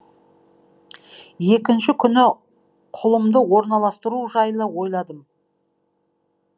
екінші күні құлымды орналастыру жайлы ойладым